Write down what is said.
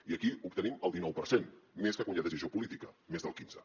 i aquí obtenim el dinou per cent més que quan hi ha decisió política més del quinze